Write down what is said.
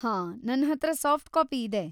ಹಾಂ, ನನ್ಹತ್ರ soft copy ಇದೆ.